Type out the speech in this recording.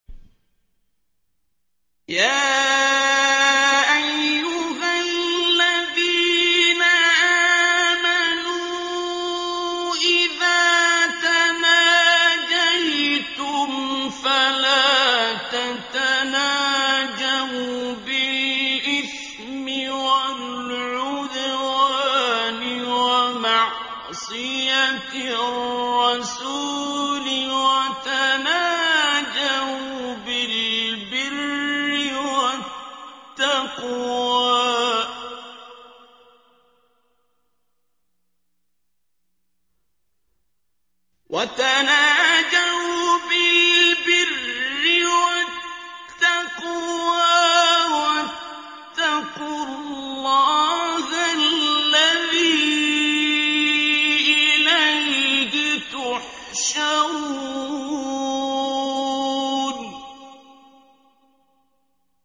يَا أَيُّهَا الَّذِينَ آمَنُوا إِذَا تَنَاجَيْتُمْ فَلَا تَتَنَاجَوْا بِالْإِثْمِ وَالْعُدْوَانِ وَمَعْصِيَتِ الرَّسُولِ وَتَنَاجَوْا بِالْبِرِّ وَالتَّقْوَىٰ ۖ وَاتَّقُوا اللَّهَ الَّذِي إِلَيْهِ تُحْشَرُونَ